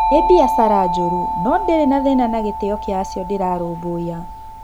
Nĩ biacara njũru - no-ndirĩ na thĩna na gĩtĩo kĩa acio ndĩrarũmbũiya."